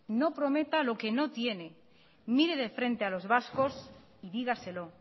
no prometa lo que no tiene mire de frente a los vascos y dígaselo